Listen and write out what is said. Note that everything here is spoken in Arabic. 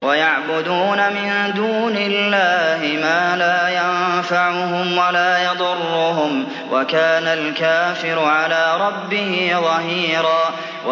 وَيَعْبُدُونَ مِن دُونِ اللَّهِ مَا لَا يَنفَعُهُمْ وَلَا يَضُرُّهُمْ ۗ وَكَانَ الْكَافِرُ عَلَىٰ رَبِّهِ ظَهِيرًا